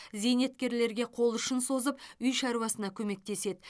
зейнеткерлерге қолұшын созып үй шаруасына көмектеседі